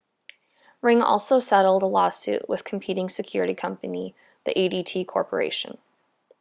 ring also settled a lawsuit with competing security company the adt corporation